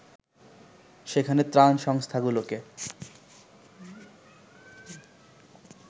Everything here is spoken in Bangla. সেখানে ত্রাণ সংস্থাগুলোকে